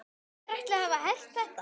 Hver ætli hafi hert þetta?